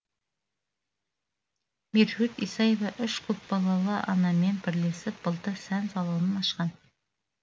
меруерт исаева үш көпбалалы анамен бірілесіп былтыр сән салонын ашқан